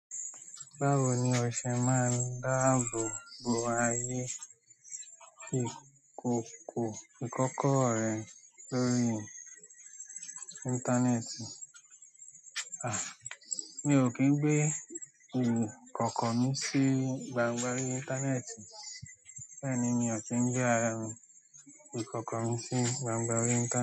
Báwo ni o ṣe máa ń dáàbò bo ayé ìkòkò ìkọ́kọ rẹ́ lórí. Íńtánẹ́ẹ̀tì? Ah! Mi ò kín gbé ìkọ́kọ mí sí gbangba orí. Íńtánẹ́ẹ̀tì. Bẹ́ẹ̀ ni, mi ò kín gbé àra mi, ìkọ́kọ mí sí gbangba orí íńtáne.